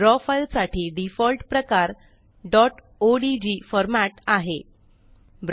draw file साठी default प्रकार dot ODG format ODG आहे